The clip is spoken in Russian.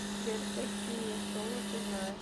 сбер какие солод ты знаешь